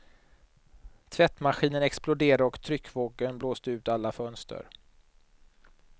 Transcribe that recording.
Tvättmaskinen exploderade och tryckvågen blåste ut alla fönster.